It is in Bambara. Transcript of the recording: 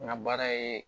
N ka baara ye